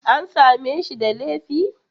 An same shi da laifi?